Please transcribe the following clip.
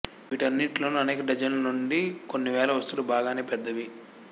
వీటన్నిటిలోనూ అనేక డజన్ల నుండి కొన్ని వేల వస్తువులు బాగానే పెద్దవి